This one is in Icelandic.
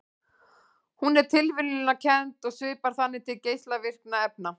Hún er tilviljunarkennd og svipar þannig til geislavirkni efna.